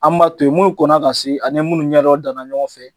An b'a to yen, minnu kɔnna ka se ani ye minnu ɲɛdɔ danna ɲɔgɔn fɛ,